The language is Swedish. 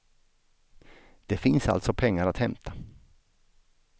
Det finns alltså pengar att hämta.